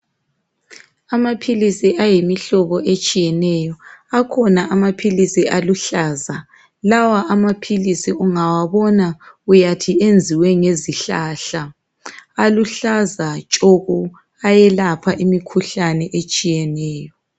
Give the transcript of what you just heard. Amaphilisi ayimihlobo etshiyeneyo, akhona amaphilisi aluhlaza, lawa amaphilisi ungawabona uyathi enziwe ngezihlahla aluhlaza tshoko, ayelapha imikhuhlane etshiyeneyo.